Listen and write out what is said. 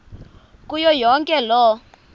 kuyo yonke loo